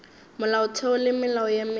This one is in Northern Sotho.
molaotheo le melao ye mengwe